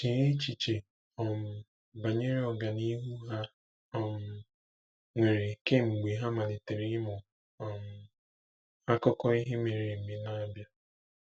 Chee echiche um banyere ọganihu ha um nwere kemgbe ha malitere ịmụ um akụkọ ihe mere eme n'Abia.